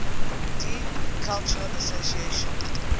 deep cultural association